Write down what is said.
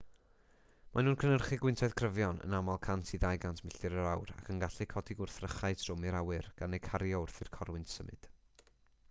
maen nhw'n cynhyrchu gwyntoedd cryfion yn aml 100-200 milltir yr awr ac yn gallu codi gwrthrychau trwm i'r awyr gan eu cario wrth i'r corwynt symud